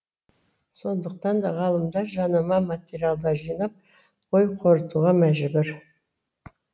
сондықтан да ғалымдар жанама материалдар жинап ой қорытуға мәжбүр